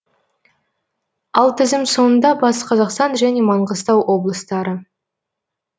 ал тізім соңында батыс қазақстан және маңғыстау облыстары